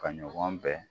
Ka ɲɔgɔn bɛn